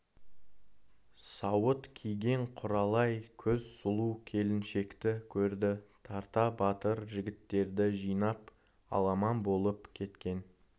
сауыт киген құралай көз сұлу келіншекті көрді тарта батыр жігіттерді жинап аламан болып кеткен